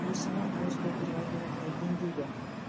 өсімі ауыз толтырып айтарлықтай деңгейде